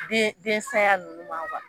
Den den saya nunnu ma